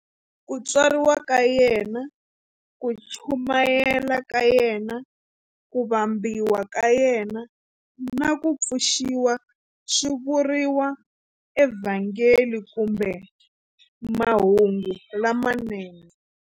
Ku tswariwa ka yena, ku chumayela ka yena, ku vambiwa ka yena, na ku pfuxiwa swi vuriwa eVhangeli kumbe Mahungu lamanene.